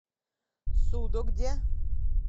судогде